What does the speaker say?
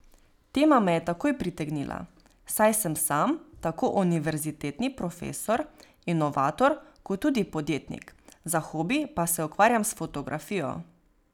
Tema me je takoj pritegnila, saj sem sam tako univerzitetni profesor, inovator kot tudi podjetnik, za hobi pa se ukvarjam s fotografijo.